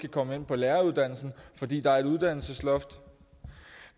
komme ind på læreruddannelsen fordi der er et uddannelsesloft